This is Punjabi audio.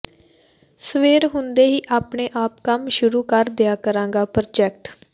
ਸਵੇਰ ਹੁੰਦੇ ਹੀ ਆਪਣੇ ਆਪ ਕੰਮ ਸ਼ੁਰੂ ਕਰ ਦਿਆ ਕਰੇਗਾ ਪ੍ਰਾਜੈਕਟ